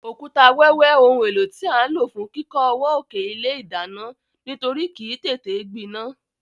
Òkúta wẹ́wẹ́ oun éló tí a n ló fún kíkó ọwọ́ òkè ilé ìdánán nítorí kìí tété gbinán